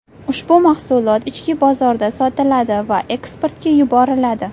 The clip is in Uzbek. Ushbu mahsulot ichki bozorda sotiladi va eksportga yuboriladi.